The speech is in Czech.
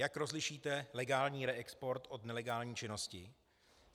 Jak rozlišíte legální reexport od nelegální činnosti?